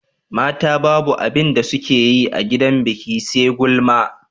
mata Babu abinda sukeyi a gidan biki SE gulma